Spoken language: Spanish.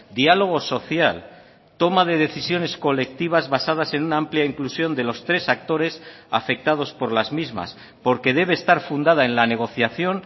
diálogo social toma de decisiones colectivas basadas en una amplia inclusión de los tres actores afectados por las mismas porque debe estar fundada en la negociación